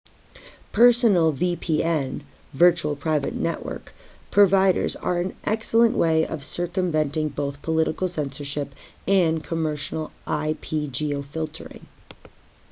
personal vpn virtual private network providers are an excellent way of circumventing both political censorship and commercial ip-geofiltering